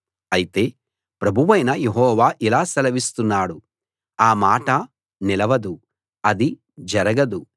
అయితే ప్రభువైన యెహోవా ఇలా సెలవిస్తున్నాడు ఆ మాట నిలవదు అది జరగదు